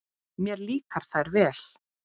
Mér líka þær vel.